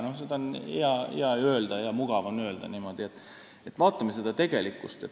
Seda on neil ju hea ja mugav öelda, aga vaatame siiski tegelikkust.